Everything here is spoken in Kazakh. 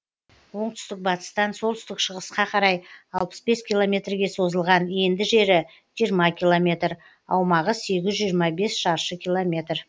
оңтүстік батыстан солтүстік шығысқа қарай алпыс бес километрге созылған енді жері жиырма километр аумағы сегіз жүз жиырма бес шаршы километр